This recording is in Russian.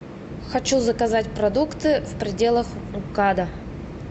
хочу заказать продукты в пределах мкада